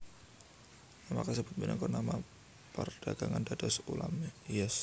Nama kasebut minangka nama perdagangan dados ulam hias